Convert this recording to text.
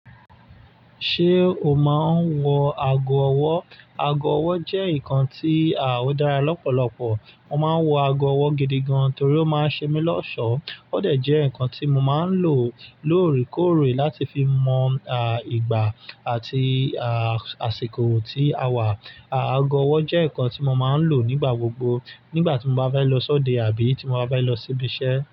Ṣé o máa ń wọ ago ọwọ́? Ago ọwọ́ jẹ́ nǹkan tí à o dára lọ́pọ̀lọpọ̀. Mo máa ń wọ ago ọwọ́ gidi gan torí ó máa ń ṣe mí lọ́ṣọ̀ọ́. Ó dẹ jẹ́ nǹkan tí mo máa ń lò lóòrékóòré láti fi mọ ìgbà àti àsìkò tí a wà. Ago ọwọ́ jẹ́ nǹkan tí mo máa ń lò nígbà gbogbo nígbà tí mo bá bá lọ sọ́dẹ àbí ti mo bá bá lọ síbi iṣẹ́.